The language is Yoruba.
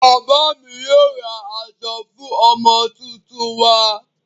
Bàbá mi yóò ra aṣọ fún ọmọ tuntun wa.